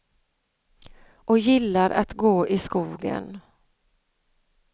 Och gillar att gå i skogen.